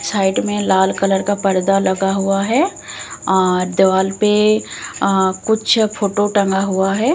Side में लाल colour का पर्दा लगा हुआ है और दीवार पे अं कुछ फोटो टंगा हुआ है।